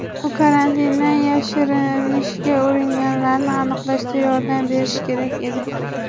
Bu karantindan yashirinishga uringanlarni aniqlashda yordam berishi kerak edi.